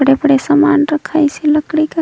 बड़े -बड़े समान रखाइसे लकड़ी का--